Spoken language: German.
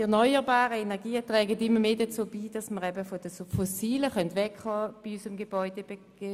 Die erneuerbaren Energieträger tragen immer mehr dazu bei, dass wir bei unseren Gebäuden von den fossilen Energieträgern wegkommen.